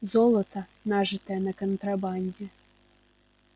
золото нажитое на контрабанде